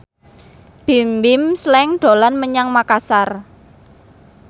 Bimbim Slank dolan menyang Makasar